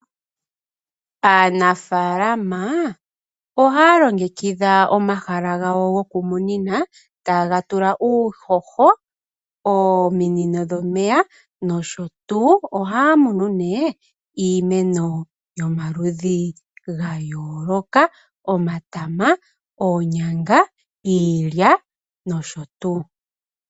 Aanafalaama ohaya longekidha omahala gawo gokumunina, taye ga tula uuhoho, ominino dhomeya nosho tuu. Ohaa munu nduno iimeno yomaludhi ga yooloka ngaashi: omatama, oonyanga, iilya nosho tuu.